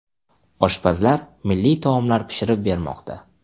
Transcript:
Oshpazlar milliy taomlar pishirib bermoqda.